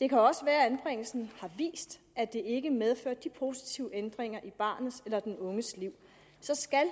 det kan også være at anbringelsen har vist at det ikke medfører de positive ændringer i barnets eller den unges liv så skal